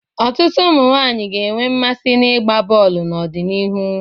Ọtụtụ ụmụ nwaanyi ga-enwe mmasị n'ịgba bọọlụ n'ọdịnihu.